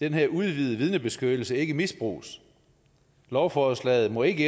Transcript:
den her udvidede vidnebeskyttelse ikke misbruges lovforslaget må ikke